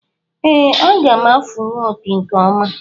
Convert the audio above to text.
Ee, aga m afụwu opi nke ọma